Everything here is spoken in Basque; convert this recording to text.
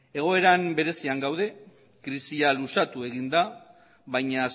egoera berezian daude krisia luzatu egin da baina